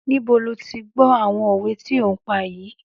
Níbo lo ti gbọ́ àwọn òwe tí o ń pa yìí?